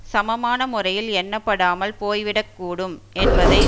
சமமான முறையில் எண்ணப்படாமல் போய்விடக்கூடும் என்பதை